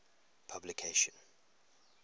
publication